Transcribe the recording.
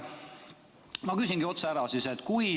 Ma küsingi siis otse ära.